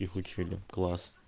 их учили класс